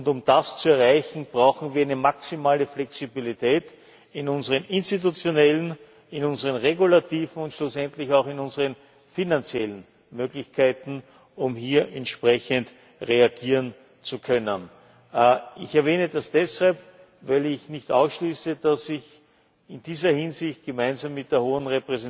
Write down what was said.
Um das zu erreichen, brauchen wir eine maximale Flexibilität in unseren institutionellen, in unseren regulativen und schlussendlich auch in unseren finanziellen Möglichkeiten, um hier entsprechend reagieren zu können. Ich erwähne das deshalb, weil ich nicht ausschließe, dass ich in dieser Hinsicht gemeinsam mit der Hohen